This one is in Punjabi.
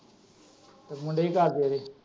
ਤੇ ਮੁੰਡੇ ਕਿ ਕਰਦੇ ਉਹਂਦੇ।